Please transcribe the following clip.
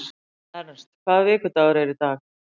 Ernst, hvaða vikudagur er í dag?